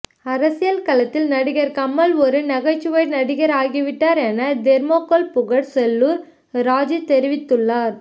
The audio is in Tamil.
அரசியல் களத்தில் நடிகர் கமல் ஒரு நகைச்சுவை நடிகராகிவிட்டார் என தெர்மோகோல் புகழ் செல்லூர் ராஜு தெரிவித்து உள்ளார்